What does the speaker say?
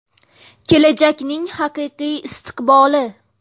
Kelajakning haqiqiy istiqboli.